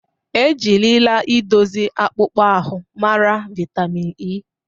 E jirila idozi akpụkpọ ahụ mara vaịtamin E.